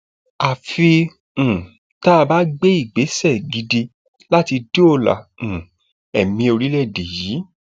àfi um tá a bá gbé ìgbésẹ gidi láti dóòlà um ẹmí orílẹèdè yìí